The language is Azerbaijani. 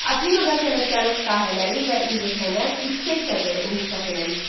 Afinada sənətkarlıq sahələri və incəsənət yüksək səviyyədə inkişaf eləmişdi.